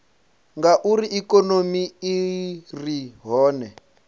ngauri ikonomi i re hone